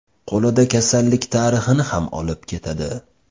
Qo‘lida kasallik tarixini ham olib ketadi.